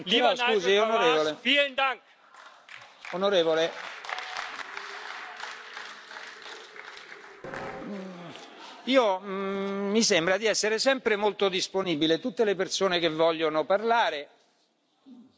Onorevole, mi sembra di essere sempre molto disponibile, tutte le persone che vogliono parlare basta che lo chiedano, però non si può chiedere